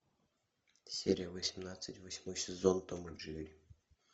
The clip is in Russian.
серия восемнадцать восьмой сезон том и джерри